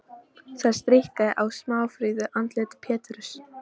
Það stríkkaði á smáfríðu andliti Péturs.